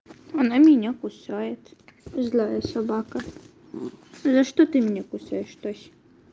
она меня кусает злая собака за что ты меня кусаешь тася